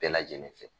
Bɛɛ lajɛlen fɛ